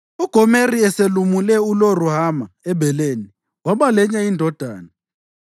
UGomeri eselumule uLo-Ruhama ebeleni, waba lenye indodana.